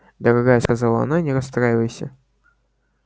дорогая сказала она не расстраивайся